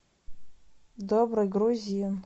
добрый грузин